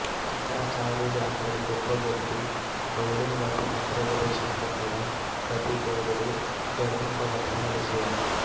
శంకరాచార్యుడు అంతటి గొప్ప వ్యక్తి గౌడుని వద్ద మంత్రోపదేశం పొందడం ప్రతి గౌడుడు గర్వింపవలసిన విషయం